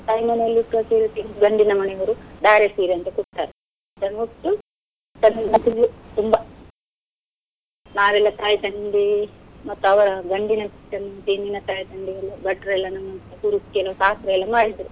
ತಾಯಿಮನೆಯಲ್ಲಿ ಉಟ್ಟ ಸೀರೆ ತೆಗ್ದು ಗಂಡಿನ ಮನೆಯವರು ಧಾರೆ ಸೀರೆ ಅಂತ ಕೊಡ್ತಾರೆ, ಅದನ್ನು ಉಟ್ಟು ತುಂಬಾ ನಾವೆಲ್ಲ ತಾಯಿ ತಂದೆ ಮತ್ತೆ ಅವ್ರ ಗಂಡಿನ ತಾಯಿ ತಂದೆಯೆಲ್ಲಾ ಭಟ್ರೇಲ್ಲ ಕೆಲವು ಶಾಸ್ತ್ರ ಎಲ್ಲ ಮಾಡಿದ್ರು.